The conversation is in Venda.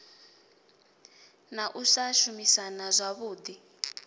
na u sa shumisana zwavhui